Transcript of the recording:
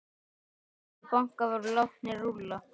Margir bankar voru látnir rúlla.